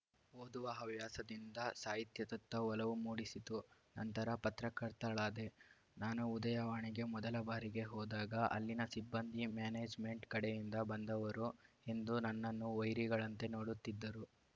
ಓದುವ ಹವ್ಯಾಸದಿಂದ ಸಾಹಿತ್ಯದತ್ತ ಒಲವು ಮೂಡಿಸಿತು ನಂತರ ಪತ್ರಕರ್ತಳಾದೆ ನಾನು ಉದಯವಾಣಿಗೆ ಮೊದಲ ಬಾರಿಗೆ ಹೋದಾಗ ಅಲ್ಲಿನ ಸಿಬ್ಬಂದಿ ಮ್ಯಾನೇಜ್‌ಮೆಂಟ್‌ ಕಡೆಯಿಂದ ಬಂದವರು ಎಂದು ನನ್ನನ್ನು ವೈರಿಗಳಂತೆ ನೋಡುತ್ತಿದ್ದರು